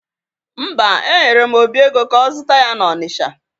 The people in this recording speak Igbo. Mba, enyere m Obi ego ka ọ zụta ya n'Ọnisha